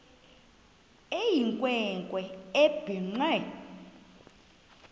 eyinkwe nkwe ebhinqe